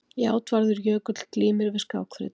Játvarður Jökull glímir við skákþrautina.